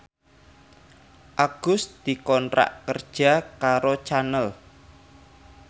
Agus dikontrak kerja karo Channel